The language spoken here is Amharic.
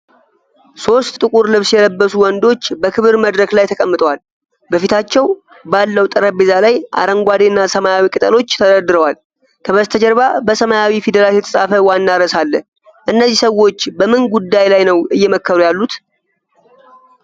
ሦስት ጥቁር ልብስ የለበሱ ወንዶች በክብር መድረክ ላይ ተቀምጠዋል። በፊታቸው ባለው ጠረጴዛ ላይ አረንጓዴ እና ሰማያዊ ቅጠሎች ተደርድረዋል። ከበስተጀርባ በሰማያዊ ፊደላት የተፃፈ ዋና ርዕስ አለ። እነዚህ ሰዎች በምን ጉዳይ ላይ ነው እየመከሩ ያሉት?